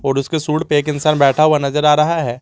और उसके सूड पे एक इंसान बैठा हुआ नजर आ रहा है।